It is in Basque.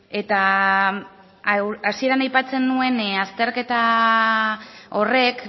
eta hasieran aipatzen nuen azterketa horrek